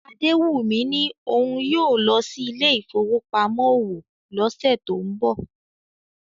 Adewummi ní òun yóò lọ sí ilé ìfowópamọ́ òwò lọ́sẹ̀ tó ń bọ̀